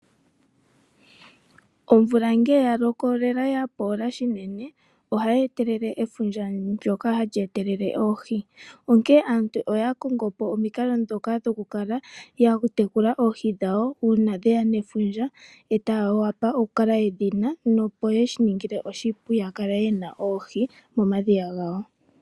Omvula nge yaloko ya poola shinene ohayee etelele efundja ndjoka hali etelele oohi ,aantu oya konga po ihe omikalo dhoka dhoku tekula oohi dhawo uuna dheya nefundja taa wapa oku kala yedhina momadhiya gawo.